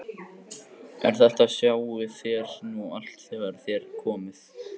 En þetta sjáið þér nú allt þegar þér komið.